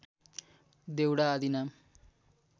देउडा आदि नाम